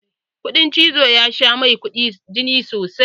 Kuɗan cizo ya sha mai jini sosai.